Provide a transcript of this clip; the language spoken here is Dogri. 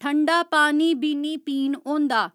ठंडा पानी बी निं पीन होंदा